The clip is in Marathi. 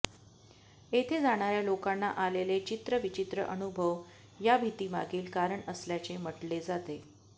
येथे जाणाऱ्या लोकांना आलेले चित्रविचित्र अनुभव ह्या भितीमागील कारण असल्याचे म्हटले जाते